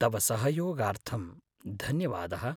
तव सहयोगार्थं धन्यवादः।